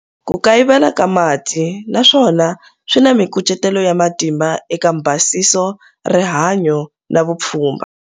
Ku kayivela ka mati na swona swi na mikucetelo ya matimba eka mbhasiso, rihanyo na vupfhumba.